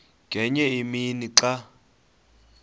ngenye imini xa